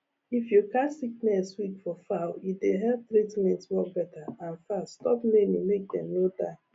if you catch sickness quick for fowl e dey help treatment work better and fast stop many make dem no die